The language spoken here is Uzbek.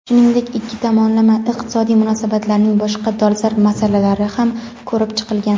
Shuningdek ikki tomonlama iqtisodiy munosabatlarning boshqa dolzarb masalalari ham ko‘rib chiqilgan.